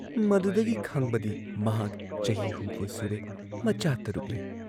ꯃꯗꯨꯗꯒꯤ ꯈꯪꯕꯗꯤ ꯃꯍꯥꯛ ꯆꯍꯤ ꯍꯨꯝꯐꯨ ꯁꯨꯔꯦ ꯃꯆꯥ ꯇꯔꯨꯛ ꯂꯩ ꯫